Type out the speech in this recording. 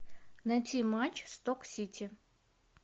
найти матч сток сити